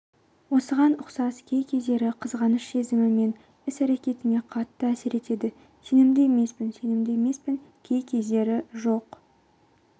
осыған ұқсас кей-кездері қызғаныш сезімі менің іс-әрекетіме қатты әсер етеді сенімді емеспін сенімді емеспін кей-кездері жоқ